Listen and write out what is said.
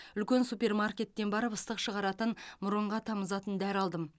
үлкен супермаркеттен барып ыстық шығаратын мұрынға тамызатын дәрі алдым